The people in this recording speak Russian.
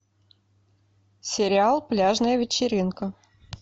сериал пляжная вечеринка